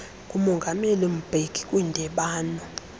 ngumongameli mbeki kwindibano